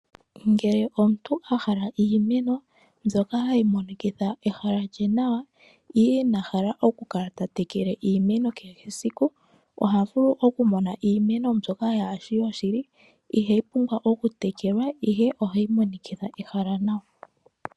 Ngele omuntu ahala iimeno mbyoka hayi monikitha ehala nawa ndele inahala oku kala ta tekela iimeno kehe esiku, oha vulu oku mona iimeno mbyoka hashi yoshili ihayi pumbwa oku tekelwa, ihe ohayi monikitha ehala nawa.